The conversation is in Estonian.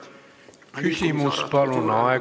Küsimus, palun!